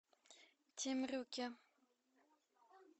темрюке